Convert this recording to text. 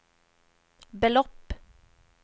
belopp